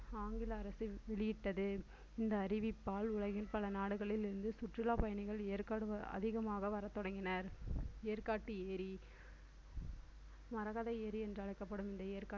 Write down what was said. ஆங்கில அரசு வெளியிட்டது இந்த அறிவிப்பால் உலகின் பல நாடுகளில் இருந்து சுற்றுலாப் பயணிகள் ஏற்காடு அதிகமாக வரத் தொடங்கினர் ஏற்காட்டு ஏரி மரகத ஏரி என்றும் அழைக்கப்படும் இந்த